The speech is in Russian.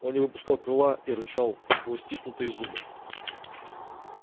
он не выпускал крыла и рычал сквозь стиснутые зубы